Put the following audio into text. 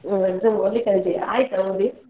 ಹ್ಮ್ exam ಓದ್ಲಿಕ್ಕೆ ರಜೆಯಾ? ಆಯ್ತಾ ಓದಿ?